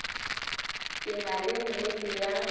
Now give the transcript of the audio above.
ke na le nnete ya